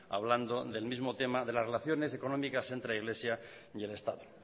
hablando del mismo tema de las relaciones económicas entre iglesia y el estado